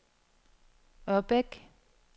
Ørbæk